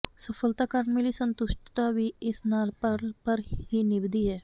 ਸਫਲਤਾ ਕਾਰਨ ਮਿਲੀ ਸੰਤੁਸ਼ਟਤਾ ਵੀ ਇਸ ਨਾਲ ਪਲ ਭਰ ਹੀ ਨਿਭਦੀ ਹੈ